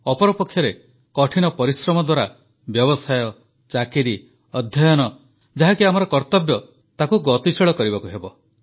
ଅପରପକ୍ଷରେ କଠିନ ପରିଶ୍ରମ ଦ୍ୱାରା ବ୍ୟବସାୟ ଚାକିରି ଅଧ୍ୟୟନ ଯାହାକି ଆମର କର୍ତ୍ତବ୍ୟ ତାହାକୁ ଗତିଶୀଳ କରିବାକୁ ହେବ